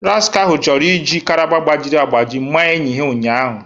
Rascahu chọrọ iji karama gbajiri agbaji maa enyi ya ụnyahụ